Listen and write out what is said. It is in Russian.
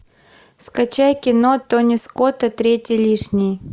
скачай кино тони скотта третий лишний